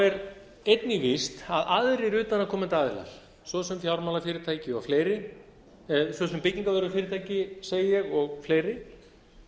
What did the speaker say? er einnig víst að aðrir utanaðkomandi aðilar svo sem fjármálafyrirtæki og fleiri svo sem byggignavörufyrirtæki segi ég og fleiri